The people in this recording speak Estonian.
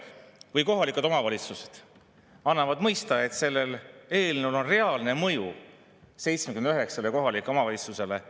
Või kohalikud omavalitsused: antakse mõista, et sellel eelnõul on reaalne mõju 79 kohalikule omavalitsusele.